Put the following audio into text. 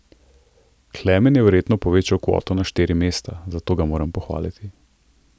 Klemen je verjetno povečal kvoto na štiri mesta, zato ga moram pohvaliti.